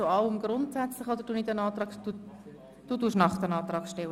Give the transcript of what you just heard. Auf das Geschäft «Entlastungspaket 2018 (EP 2018)» ist nicht einzutreten.